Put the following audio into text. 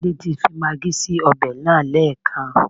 Tádé ti fi magí sí ọbẹ̀ náà lẹ́ẹ̀kan